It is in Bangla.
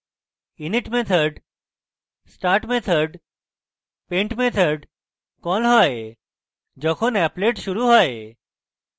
অর্থাৎ init method start method এবং paint method কল হয় যখন applet শুরু হয়